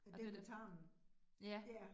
Den. Ja